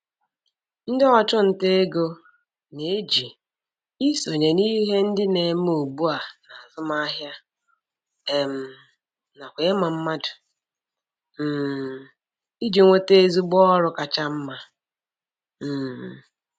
Ndị ọchụnta ego na-eji isonye n'ihe ndị na-eme ugbua n'azụmahịa um nakwa ịma mmadụ um iji nweta ezigbo ọrụ kacha mma. um